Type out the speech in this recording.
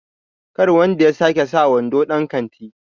kar wanda ya sake sa wando dan kanti!